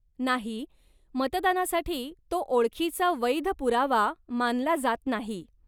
नाही, मतदानासाठी तो ओळखीचा वैध पुरावा मानला जात नाही.